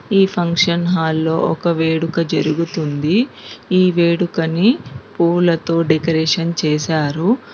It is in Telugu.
ఈ ఫంక్షన్ హాల్ లో ఒక వేడుక జరుగుతుంది ఈ వేడుకని పూలతో డెకరేషన్ చేశారు.